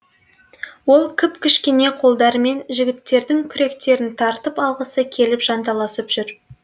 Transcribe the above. ол кіп кішкене қолдарымен жігіттердің күректерін тартып алғысы келіп жанталасып жүр